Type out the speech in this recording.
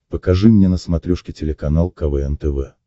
покажи мне на смотрешке телеканал квн тв